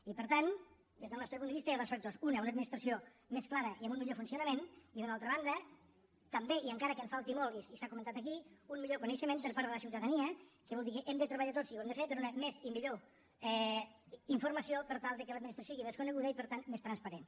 i per tant des del nostre punt de vista hi ha dos factors un una administració més clara i amb un millor funcionament i d’una altra banda també i encara que en falti molt i s’ha comentat aquí un millor coneixement per part de la ciutadania que vol dir que hem de treballar tots i ho hem de fer per donar més i millor informació per tal de que l’administració sigui més coneguda i per tant més transparent